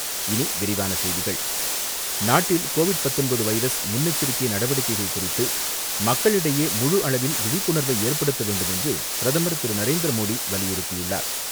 இனிவிரிவான செய்திகள் நாட்டில் கோவிட் பத்தொன்பது வைரஸ் முன்னெச்சரிக்கை நடவடிக்கைகள் குறித்து மக்களிடையே முழு அளவில் விழிப்புணர்வை ஏற்படுத்த வேண்டும் என்றுபிரதமர் திரு நரேந்திரமோடி வலியுறுத்தியுள்ளார்.